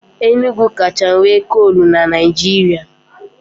Enugu kacha nwe kolu n'Naijiria